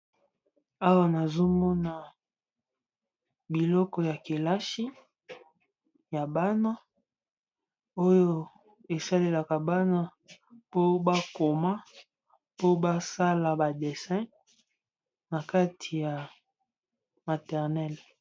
Awa nazomona biloko ya kelasi ya bana oyo esalelaka bana po bakoma po basala ba desin na kati ya maternel.